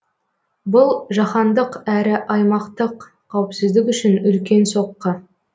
бұл жаһандық әрі аймақтық қауіпсіздік үшін үлкен соққы